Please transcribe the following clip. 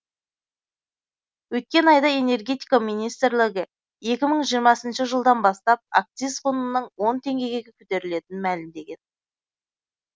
өткен айда энергетика министрлігі екі мың жиырмасыншы жылдан бастап акциз құнының он теңгеге көтерілетінін мәлімдеген